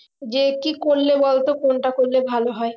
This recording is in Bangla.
যে কি করলে বলতো কোনটা করলে ভালো হয়